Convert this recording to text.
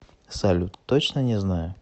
салют точно не знаю